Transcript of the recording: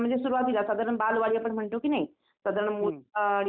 अच्छा दरवर्षी ह्याच महिन्यात यात्रा भरते काय? चैत्र महिन्यातच